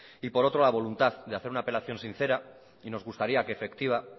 y por otro la voluntad de hacer una apelación sincera y nos gustaría que efectiva